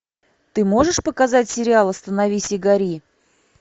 ты можешь показать сериал остановись и гори